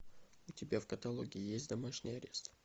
у тебя в каталоге есть домашний арест